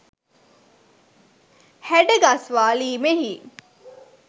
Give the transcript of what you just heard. හැඩ ගස්වාලීමෙහි